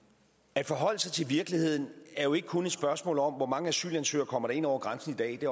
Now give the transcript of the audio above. at forholde sig til virkeligheden er jo ikke kun et spørgsmål om hvor mange asylansøgere der kommer ind over grænsen i dag det